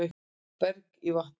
Berg í vatn